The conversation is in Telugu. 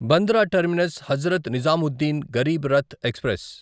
Bandra terminus Hazrat Nizamuddin Garib Rath express